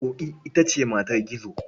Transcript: Ƙoƙi ita ce matar Gizo.